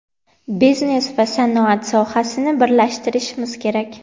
biznes va sanoat sohasini birlashtirishimiz kerak.